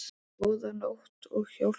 Góða nótt og hljóp heim.